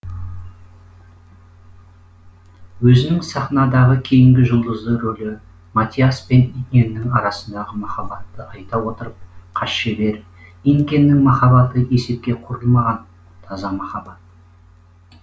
өзінің сахнадағы кейінгі жұлдызды ролі матиасс пен инкеннің арасындағы махаббатты айта отырып хас шебер инкеннің махаббаты есепке құрылмаған таза махаббат